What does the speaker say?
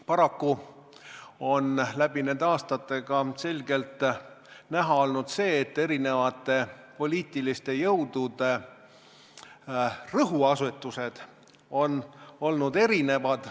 Paraku on läbi nende aastate ka selgelt näha olnud see, et eri poliitiliste jõudude rõhuasetused on olnud erinevad.